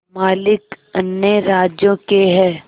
मालिक अन्य राज्यों के हैं